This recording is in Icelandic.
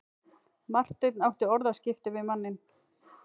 Marteinn átti orðaskipti við manninn.